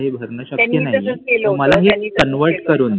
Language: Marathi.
भरणं शक्य नाही. मला हे convert करून दे